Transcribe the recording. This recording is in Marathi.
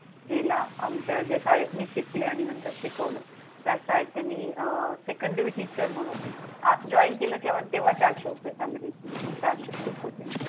केला. आमच्या ज्या शाळेत मी शिकले आणि नंतर शिकवलं. त्याच शाळेत त्यांनी अं Secondary Teacher म्हणून अं join केलं तेव्हा चारशे रुपये salary होती. चारशे खूप होते.